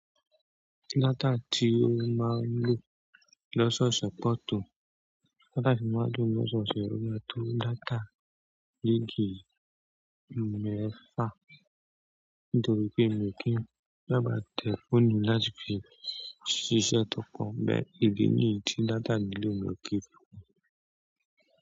Dátà tí ó máa ń lò lóṣùọ̀sẹ̀ pọ̀ tó, dátà tí ó máa ń lò lóṣùọ̀sẹ̀ pọ̀ tó; dátà yìí kì í mẹ́fà. Nítorí pé èmi kì í sábà lo fóònù láti fi ṣe iṣẹ́ tó kàn, bẹ́ẹ̀ ni ibi tí data ìlò mi ò ti í fi kún.